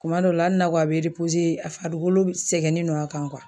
Kuma dɔw la hali n'a ko a be a farikolo sɛgɛnnen don a kan